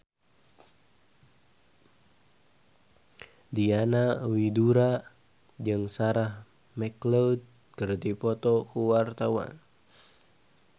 Diana Widoera jeung Sarah McLeod keur dipoto ku wartawan